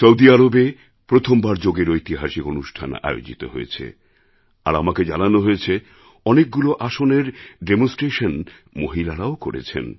Saudi আরবে প্রথমবার যোগের ঐতিহাসিক অনুষ্ঠান আয়োজিত হয়েছে আর আমাকে জানানো হয়েছে অনেকগুলো আসনের ডেমনস্ট্রেশন মহিলারাও করেছেন